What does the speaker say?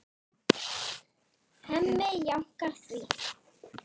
Hemmi jánkar því.